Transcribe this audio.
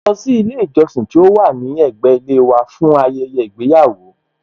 Mọ ń lọ sí ilé ìjọsìn tí ó wà ní ẹ̀gbẹ́ ilé wa fún ayẹyẹ ìgbéyàwó